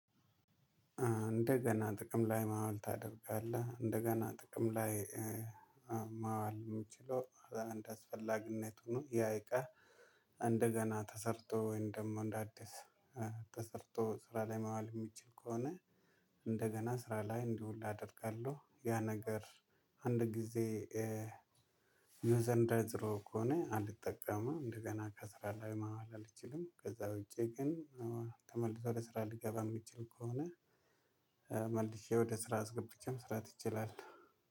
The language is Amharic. እንደገና ጥቅም ላይ ማዋል ታደርጋለህ እንደገና ጥቅም ላይ ማዋል የሚችለው እንደአስፈላጊነቱ ነው ያ እቃ እንደገና ተሰርቶ ወይም ደግሞ እንደ አዲስ ተሰርቶ ስራ ላይ ማዋል የሚችል ከሆነ እንደገና ስራ ላይ እንዲውል አደርጋለሁ ያ ነገር አንድ ጊዜ እነዛ እንዳይ ነዝረው ከሆነ አልጠቀመም እንደገና ከስራ ላይ ማዋል አልችልም ከዛ ውጪ ግን ተመልሶ ወደስራ ልገባ የምትችል ከሆነ መልኬ ወደ ስራ አስገብቼም ስራ ትችላለህ